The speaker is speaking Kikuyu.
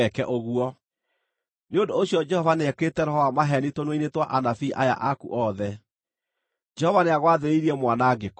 “Nĩ ũndũ ũcio Jehova nĩekĩrĩte roho wa maheeni tũnua-inĩ twa anabii aya aku othe. Jehova nĩagwathĩrĩirie mwanangĩko.”